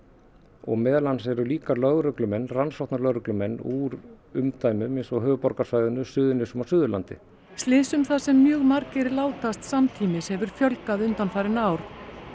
og meðal annars eru líka lögreglumenn rannsóknarlögreglumenn úr umdæmum eins og höfuðborgarsvæðinu Suðurnesjunum og Suðurlandi slysum þar sem mjög margir látast samtímis hefur fjölgað undanfarin ár